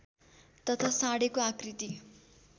तथा साँढेको आकृति